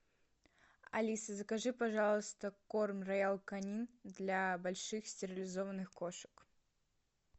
алиса закажи пожалуйста корм роял канин для больших стерилизованных кошек